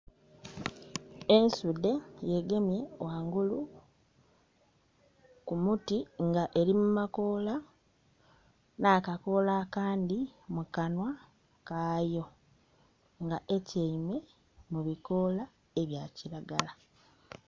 Ensuude ye gemye ghangulu ku muti nga eri mu makoola na kakoola akandi mu kanwa kaayo nga etiame mu bikoola ebya kiragala